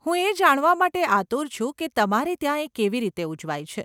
હું એ જાણવા માટે આતુર છું કે તમારે ત્યાં એ કેવી રીતે ઉજવાય છે.